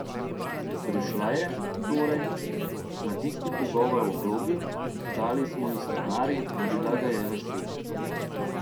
Prišla je, torej, na tisti pogovor o vlogi, dali smo ji scenarij in bila ga je vesela.